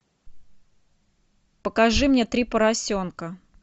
покажи мне три поросенка